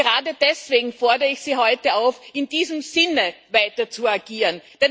Und gerade deswegen fordere ich Sie heute auf, in diesem Sinne weiter zu agieren.